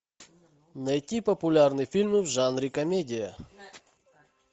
найти популярные фильмы в жанре комедия